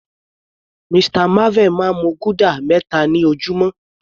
Mr marvel máa ń mu guda meta ni ojúmọ́.